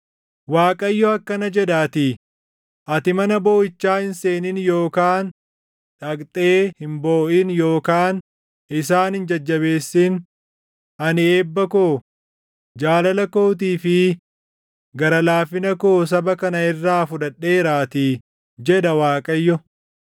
Waaqayyo akkana jedhaatii: “Ati mana booʼichaa hin seenin yookaan dhaqxee hin booʼin yookaan isaan hin jajjabeessin; ani eebba koo, jaalala kootii fi gara laafina koo saba kana irraa fudhadheeraatii” jedha Waaqayyo.